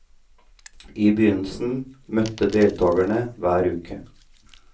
I begynnelsen møttes deltagerne hver uke.